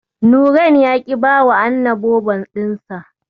Nurain ya ƙi bawa Anna Bobo ɗinsa.